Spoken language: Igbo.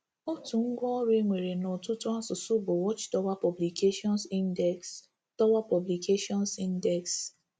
Otu ngwá ọrụ e nwere n’ọtụtụ asụsụ bụ Watch Tower Publications Index Tower Publications Index.